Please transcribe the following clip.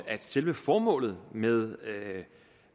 at selve formålet med